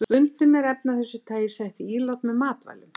Stundum eru efni af þessu tagi sett í ílát með matvælum.